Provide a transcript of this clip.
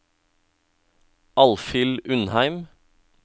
Alfhild Undheim